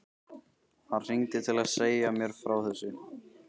Hann hringdi til að segja mér frá þessu.